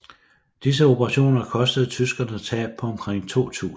Disse operationer kostede tyskerne tab på omkring 2000